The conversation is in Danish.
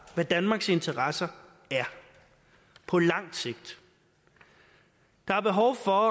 hvad danmarks interesser er på lang sigt der er behov for